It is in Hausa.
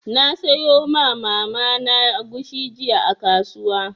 Na sayo ma Mama na agushi jiya a kasuwa.